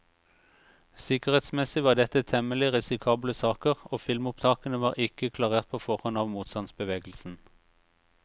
Sikkerhetsmessig var dette temmelig risikable saker, og filmopptakene var ikke klarert på forhånd av motstandsbevegelsen.